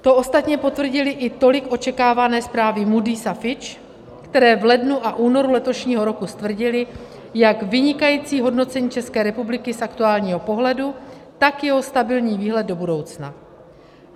To ostatně potvrdily i tolik očekávané zprávy Moody´s a Fitch, které v lednu a únoru letošního roku stvrdily, jak vynikající hodnocení České republiky z aktuálního pohledu, tak jeho stabilní výhled do budoucna.